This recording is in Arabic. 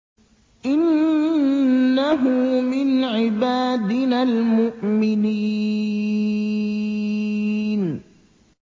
إِنَّهُ مِنْ عِبَادِنَا الْمُؤْمِنِينَ